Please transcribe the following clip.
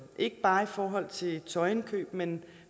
er ikke bare i forhold til tøjindkøb men